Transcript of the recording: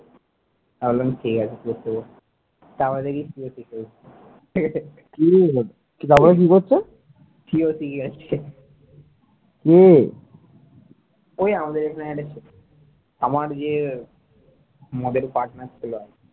ওই আমাদের ওখানের একটা ছেলে আমার যে মদের partner ছিল আগে,